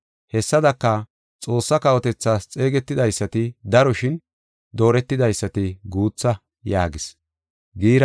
“Hessadaka, Xoossaa kawotethaas xeegetidaysati daro shin dooretidaysati guutha” yaagis.